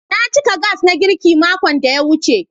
Na cika Gas na girki makon da ya wuce.